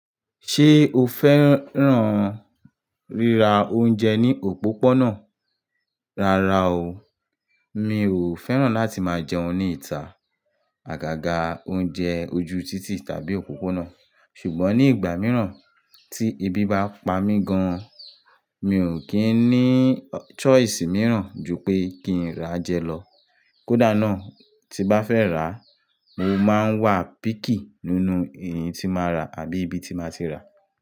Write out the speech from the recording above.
Ṣé o fẹ́ràn rírà oúnjẹ ní òpópónà? Rárá o, mi ò fẹ́ràn láti máa jẹun ní ìta, àgàgà oúnjẹ ojú títì tàbí òpópónà. Ṣùgbọ́n ní ìgbà mìíràn tí ebí bá pa mí gan, mi ò kí ń ní choice mìíràn ju pé kí n ra jẹ lọ. Kódà náà tí bá fẹ́ rà, mo máa ń wa picky nínú èyí tí máa rà àbí ibi tí máa ti rà.